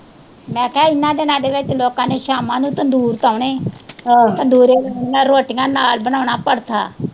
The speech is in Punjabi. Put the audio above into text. ਮੈ ਕਿਹਾ ਇਹਨਾਂ ਦਿਨਾਂ ਦੇ ਵਿਚ ਲੋਕਾਂ ਨੇ ਸ਼ਾਮਾ ਨੂੰ ਤੰਦੂਰ ਤੋਨੇ ਤੰਦੂਰੇ ਲਾਉਣੀਆਂ ਰੋਟੀਆਂ ਨਾਲ ਬਣਾਉਣਾ ਪਰਥਾ